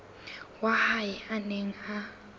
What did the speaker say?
wa hae a neng a